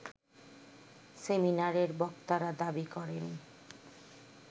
সেমিনারের বক্তারা দাবি করেন